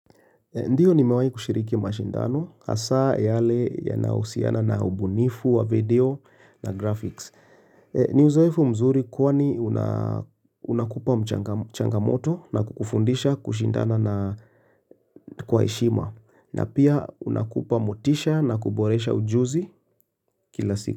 Ndiyo nimewahi kushiriki mashindano hasaa yale yana husiana na ubunifu wa video na graphics. Ni uzoefu mzuri kwani unaa unakupa mchanga changamoto na kufundisha kushindana na kwa heshima na pia unakupa motisha na kuboresha ujuzi kila siku.